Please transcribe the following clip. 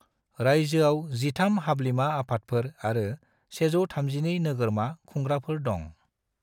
रायजोआव 13 हाब्लिमा आफादफोर आरो 132 नोगरमा खुंग्राफोर दङ'।